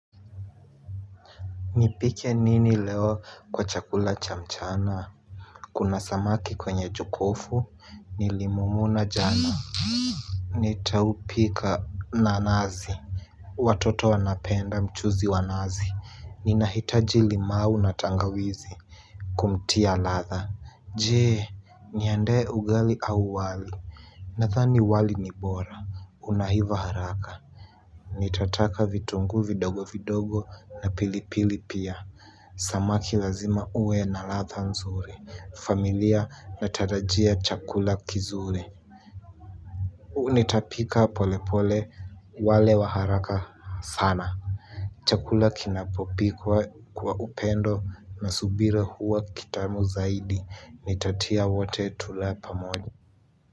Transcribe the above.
Nipike nini leo kwa chakula cha mchana. Kuna samaki kwenye jokofu nilimumuna jana. Nitaupika na nazi. Watoto wanapenda mchuzi wa nazi. Ninahitaji limau na tangawizi. Kumtia ladha. Je, niendee ugali au wali? Nadhani wali ni bora unaiva haraka. Nitataka vitunguu vidogo vidogo na pilipili pia. Samaki lazima uwe na ladha nzuri. Familia inatarajia chakula kizuri. Huu nitapika polepole wale wa haraka sana. Chakula kinapopikwa kwa upendo na subira huwa kitamu zaidi. Nitatia wote tule pamoja.